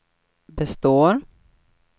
består